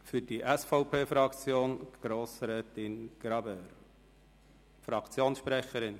Für dieSVP-Fraktion Grossrätin Graber, Fraktionssprecherin.